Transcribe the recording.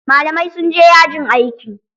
Malamai sunje yajin aiki.